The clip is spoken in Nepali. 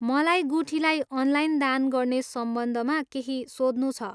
मलाई गुठीलाई अनलाइन दान गर्ने सम्बन्धमा केही सोध्नु छ।